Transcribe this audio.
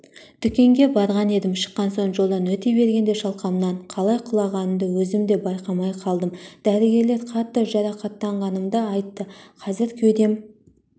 дүкенге барған едім шыққан соң жолдан өте бергенде шалқамнан қалай құлағанымды өзім де байқамай қалдым дәрігерлер қатты жарқаттанғанымды айтты қазір кеудем